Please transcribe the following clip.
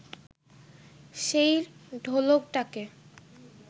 সেই ঢোলকটাকে